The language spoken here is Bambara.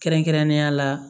Kɛrɛnkɛrɛnnenya la